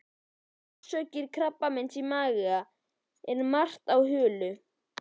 Um orsakir krabbameins í maga er margt á huldu.